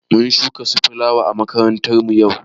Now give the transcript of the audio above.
Mun shuka su filawa à makaranta yau.